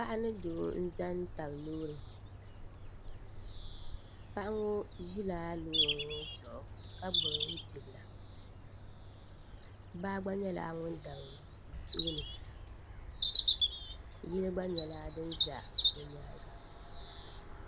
paɣa ni doo n-za n-tabi loori paɣa ŋɔ ʒila loori ŋɔ zuɣu ka gbubi bibila baa gba nyɛla ŋun dabi bɛ tooni yili gba nyɛla din za bɛ nyaaŋga